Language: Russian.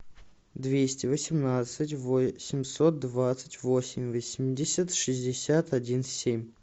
двести восемнадцать восемьсот двадцать восемь восемьдесят шестьдесят один семь